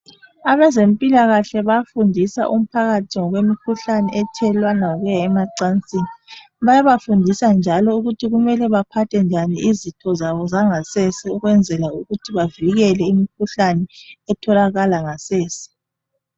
Abezempilakahle bayafundisa umphakathi ngokwemikhuhlane ethelelwana ngokuya emacansini Bayabafundisa njalo ukuthi kumele baphathe njani izitho zabo zangasese ukwenzela ukuthi bavikele imkhuhlane etholakala ngasese